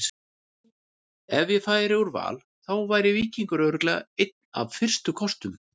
Ef ég færi úr Val þá væri Víkingur örugglega einn af fyrstu kostum.